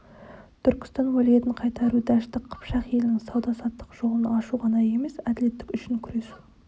түркістан уәлиетін қайтару дәшті қыпшақ елінің сауда-саттық жолын ашу ғана емес әділеттік үшін күресу